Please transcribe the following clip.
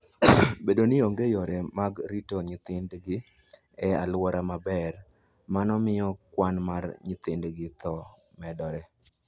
Bedo ni onge yore mag rito nyithindgi e alwora maber, mano miyo kwan mar nyithindgi tho medore.